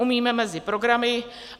Umíme mezi programy.